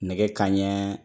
Nɛgɛ kanɲɛ